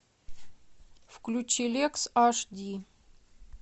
включи лекс аш ди